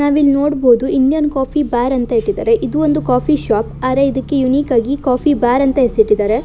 ನಾವಿಲ್ಲಿ ನೋಡಬೋದು Indian coffee bar ಅಂತ ಇಟ್ಟಿದ್ದಾರೆ ಇದು ಒಂದು ಕಾಫಿ ಶಾಪ್ ಆದರೆ ಇದಕ್ಕೆ ಯೂನಿಕ್ ಆಗಿ ಕಾಫಿಬಾರ್ ಅಂತ ಹೆಸರಿಟ್ಟಿದ್ದಾರೆ.